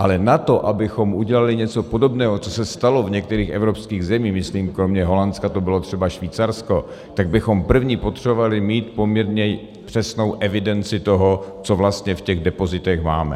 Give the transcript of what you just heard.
Ale na to, abychom udělali něco podobného, co se stalo v některých evropských zemích - myslím, kromě Holandska to bylo třeba Švýcarsko -, tak bychom první potřebovali mít poměrně přesnou evidenci toho, co vlastně v těch depozitech máme.